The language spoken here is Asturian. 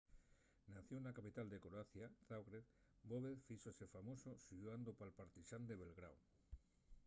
nacíu na capital de croacia zagreb bobek fíxose famosu xugando pal partizán de belgráu